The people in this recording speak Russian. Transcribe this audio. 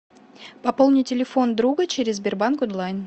пополни телефон друга через сбербанк онлайн